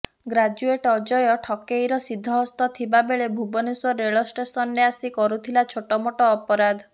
graduate Ajay ଠକେଇରେ ସିଦ୍ଧହସ୍ତ ଥିବା ବେଳେ ଭୁବନେଶ୍ୱର ରେଳଷ୍ଟେସନରେ ଆସି କରୁଥିଲା ଛୋଟମୋଟ ଅପରାଧ